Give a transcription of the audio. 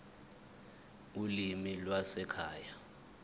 ulimi lwasekhaya p